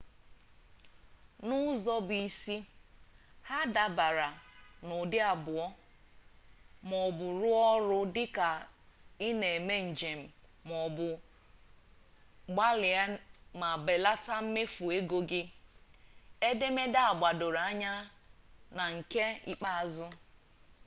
n'ụzọ bụ isi ha dabara n'ụdị abụọ ma ọ bụ rụọ ọrụ dị ka ị na-eme njem ma ọ bụ gbalie ma belata mmefu ego gị edemede a gbadoro anya na nke ikpeazụ